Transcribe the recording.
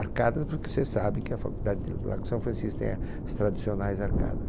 Arcadas porque você sabe que a Faculdade de Largo de São Francisco tem as tradicionais arcadas.